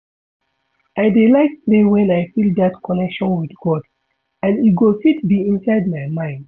I dey like pray wen I feel dat connection with God and e go fit be inside my mind